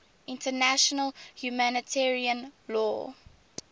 international humanitarian law